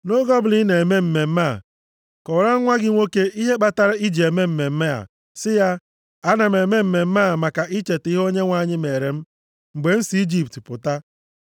Nʼoge ọbụla ị na-eme mmemme a, kọwaara nwa gị nwoke ihe kpatara i ji eme mmemme a, si ya, ‘Ana m eme mmemme a maka icheta ihe Onyenwe anyị meere m, mgbe m si nʼIjipt pụta.’